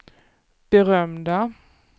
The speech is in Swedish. berömda